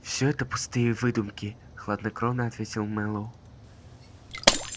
всё это пустые выдумки хладнокровно ответил мэллоу